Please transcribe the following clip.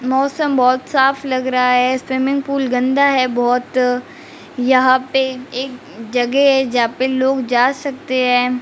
मौसम बहुत साफ लग रहा है स्विमिंग पूल गंदा है बहुत यहां पे एक जगह है जहां पे लोग जा सकते हैं।